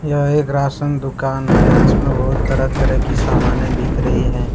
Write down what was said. यह एक राशन दुकान है जिसमें बहुत तरह तरह की समाने बिक रही हैं।